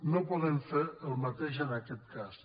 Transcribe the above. no podem fer el mateix en aquest cas